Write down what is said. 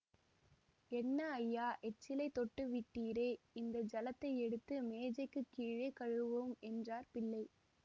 என்ன ஐயா எச்சிலைத் தொட்டுவிட்டீரே இந்த ஜலத்தை எடுத்து மேஜைக்குக் கீழே கழுவும் என்றார் பிள்ளை